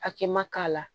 Hakɛ ma k'a la